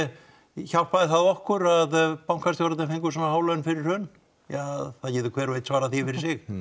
hjálpaði það okkur að bankastjórarnir fengu svona há laun fyrir hrun ja það getur hver og einn svarað því fyrir sig